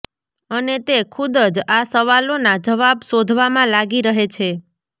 અને તે ખુદ જ આ સવાલોના જવાબ શોધવામાં લાગી રહે છે